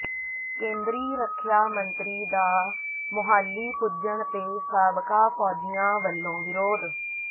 ਕੇਂਦਰੀ ਰੱਖਿਆ ਮੰਤਰੀ ਦਾ ਮੋਹਾਲੀ ਪੁੱਜਣ ਤੇ ਸਾਬਕਾ ਫੌਜੀਆਂ ਵਲੋਂ ਵਿਰੋਧ